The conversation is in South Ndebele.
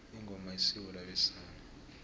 ingoma isiko labesana